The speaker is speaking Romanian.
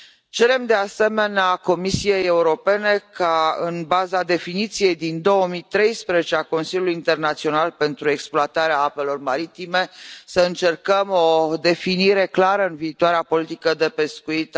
Cerem, de asemenea, Comisiei Europene ca, în baza definiției din 2013 a Consiliului Internațional pentru Exploatarea Apelor Maritime, să încercăm o definire clară a acestei activități în viitoarea politică de pescuit